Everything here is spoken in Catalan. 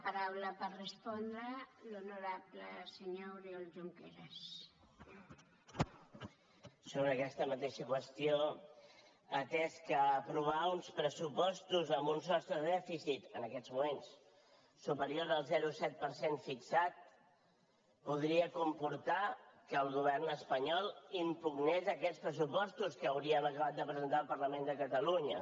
sobre aquesta mateixa qüestió atès que aprovar uns pressupostos amb un sostre de dèficit en aquests moments superior al zero coma set per cent fixat podria comportar que el govern espanyol impugnés aquests pressupostos que hauríem acabat de presentar al parlament de catalunya